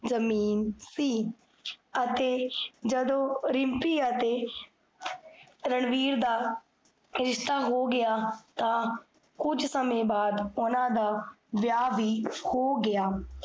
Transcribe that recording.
ਜਮੀਨ ਸੀ ਅਤੇ ਜਦੋ ਰਿਮ੍ਪੀ ਅਤੇ ਰਣਵੀਰ ਦਾ, ਰਿਸ਼ਤਾ ਹੋ ਗਿਆ, ਤਾਂ ਕੁਜ ਸਮੇ ਬਾਅਦ, ਓਨਾ ਦਾ ਵ੍ਯਾਹ ਵੀ ਹੋ ਗਿਆ